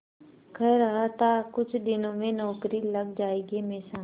कह रहा था कुछ दिनों में नौकरी लग जाएगी हमेशा